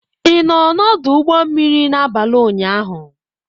Ị nọ n'ọdụ ụgbọ mmiri n'abalị ụnyaahụ.